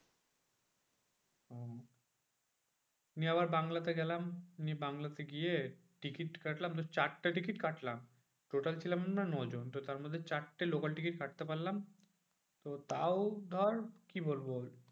নিয়ে আবার বাংলাতে গেলাম। নিয়ে বাংলাতে গিয়ে টিকিট কাটলাম চারটে টিকিট কাটলাম। total ছিলাম মনে হয় নজন তো তার মধ্যে চারটে local টিকিট কাটতে পারলাম। তো তাও ধর কি বলবো?